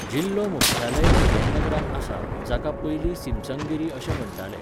जिल्हो मुख्यालय विल्यमनगरांत आसा, जाका पयलीं सिमसंगिरी अशें म्हण्टाले.